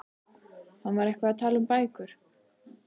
Hann var eitthvað að tala um bækur.